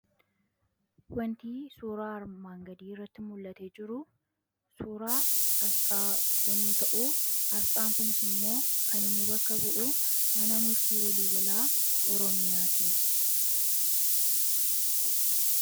Wantii suuraa armaan gadii irratti mul'ate jiru suuraa asxaa yommuu ta'u, aasxaan kunis immoo kan inni bakka bu'u mana murtii walii galaa Oromiyaati.